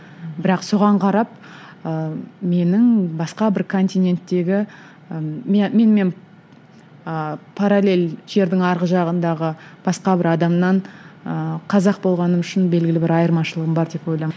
бірақ соған қарап ыыы менің басқа бір континенттегі ы менімен ыыы паралель жердің арғы жағындағы басқа бір адамнан ыыы қазақ болғаным үшін белгілі бір айырмашылығым бар деп